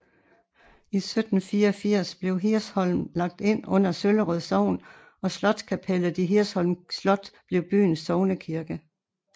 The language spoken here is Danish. I 1784 blev Hirscholm lagt ind under Søllerød Sogn og slotskapellet i Hirschholm Slot blev byens sognekirke